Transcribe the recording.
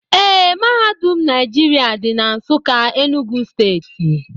Ee, mahadum Naijiria dị na Nsụka Enugu steeti